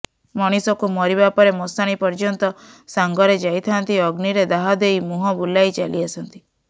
ମଣିଷକୁ ମରିବାପରେ ମଶାଣୀ ପର୍ଯ୍ୟନ୍ତ ସାଙ୍ଗରେ ଯାଇଥାଆନ୍ତି ଅଗ୍ନିରେ ଦାହ ଦେଇ ମୁହଁ ବୁଲାଇ ଚାଲି ଆସନ୍ତି